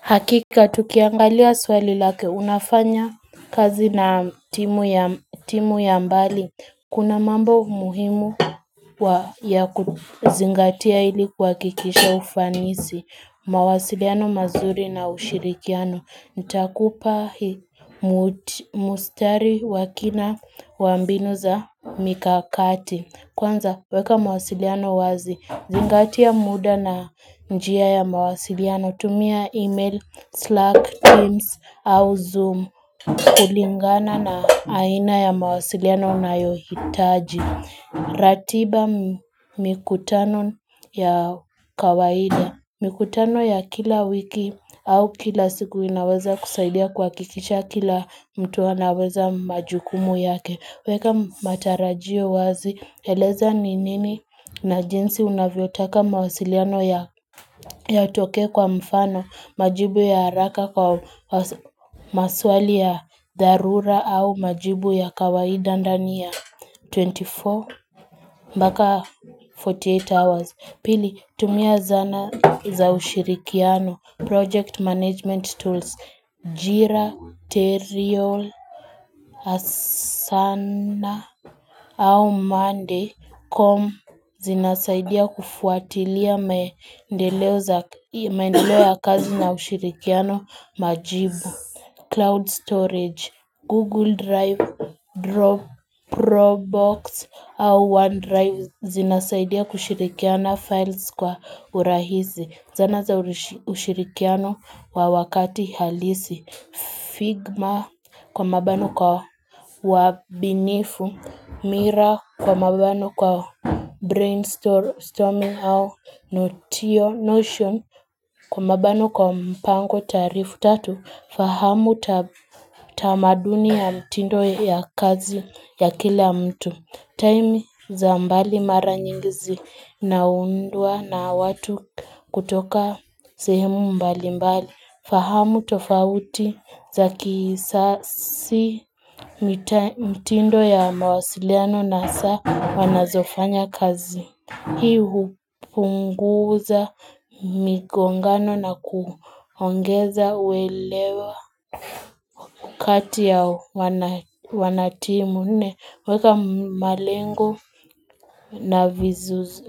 Hakika tukiangalia swali lake unafanya kazi na timu ya mbali. Kuna mambo muhimu ya kuzingatia ili kuhakikisha ufanisi. Mawasiliano mazuri na ushirikiano. Nitakupa mustari wakina wambinu za mikakati. Kwanza weka mawasiliano wazi. Zingatia muda na njia ya mawasiliano. Hutumia email, Slack, Teams, au Zoom. Kulingana na aina ya mawasiliano unayohitaji. Ratiba mikutano ya kawaida. Mikutano ya kila wiki au kila siku inaweza kusaidia kuhakikisha kila mtu anaweza majukumu yake. Weka matarajio wazi eleza ni nini na jinsi unavyo taka mawasiliano ya yatokee kwa mfano majibu ya haraka kwa maswali ya dharura au majibu ya kawaida ndani ya twenty four mbaka Forty eight hours. Pili, tumia zana za ushirikiano, project management tools, jira, teriol, asana, au mande, com, zinasaidia kufuatilia maendeleo za maendeleo ya kazi na ushirikiano, majibu, cloud storage, google drive, drop, probox, au one drive, Zinasaidia kushirikiana files kwa urahizi Zana za ushirikiano wa wakati halisi Figma kwa mabano kwa wabinifu Mira kwa mabano kwa brainstorming au notio notion Kwa mabano kwa mpango tarifu tatu fahamu tamaduni ya mtindo ya kazi ya kila mtu Taimi za mbali mara nyingi zinaundwa na watu kutoka sehemu mbali mbali. Fahamu tofauti za kisasi mitindo ya mawasiliano na saa wanazofanya kazi. Hii hupunguza migongano na kuongeza uelewa kati ya wanatimu. Weka malengo na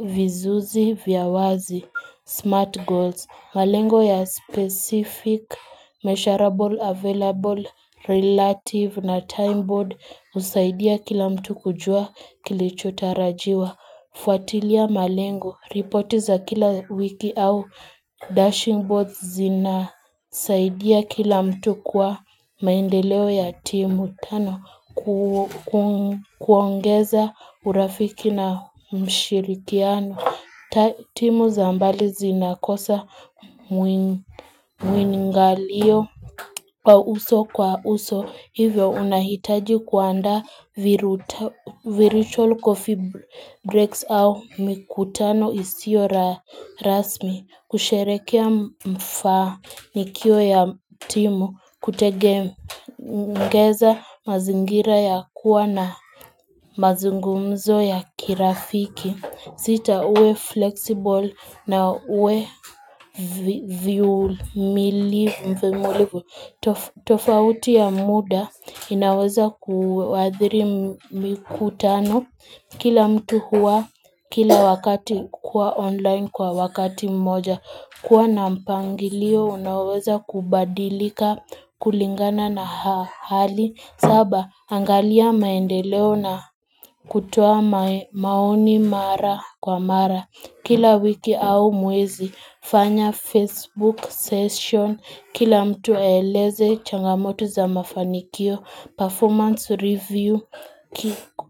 vizuzi vya wazi, smart goals, malengo ya specific, measurable, available, relative na time board usaidia kila mtu kujua kilichotarajiwa. Fuatilia malengo, ripoti za kila wiki au dashing boards zina saidia kila mtu kwa maendeleo ya timu tano kuongeza urafiki na mshirikiano. Timu za mbali zinakosa mwingalio kwa uso kwa uso hivyo unahitaji kuanda viruto virucholo kofibrax au mikutano isiyo rasmi kusherekea mfanikio ya timu kutege ngeza mazingira ya kuwa na mazungumzo ya kirafiki sita uwe flexible na uwe mvimulivu. Tofauti ya muda inaweza kuwadhiri mikutano kila mtu huwa kila wakati kwa online kwa wakati mmoja. Kuwa na mpangilio unaweza kubadilika kulingana na hali. Saba, angalia maendeleo na kutoa maoni mara kwa mara Kila wiki au mwezi, fanya Facebook session Kila mtu aeleze changamoto za mafanikio Performance review,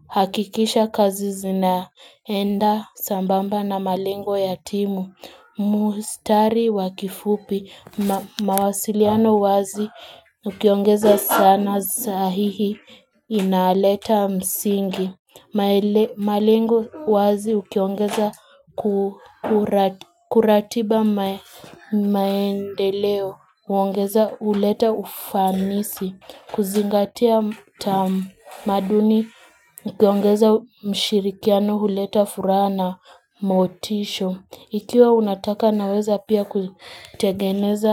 hakikisha kazi zina enda sambamba na malengo ya timu Mustari wakifupi, mawasiliano wazi Ukiongeza sana sahihi inaleta msingi. Malengo wazi ukiongeza kuratiba maendeleo. Huongeza huleta ufanisi. Kuzingatia tamaduni. Ukiongeza mshirikiano huleta furaha na motisho. Ikiwa unataka naweza pia kutegeneza.